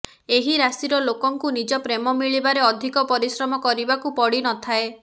ଏହି ରାଶିର ଲୋକଙ୍କୁ ନିଜ ପ୍ରେମ ମିଳିବାରେ ଅଧିକ ପରିଶ୍ରମ କରିବାକୁ ପଡ଼ିନଥାଏ